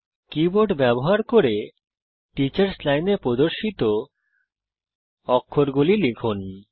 keyboard ব্যবহার করে teachers লাইনে প্রদর্শিত অক্ষরগুলি লিখুন